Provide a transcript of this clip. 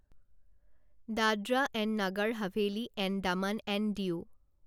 Dadra and Nagar Haveli and Daman and Diu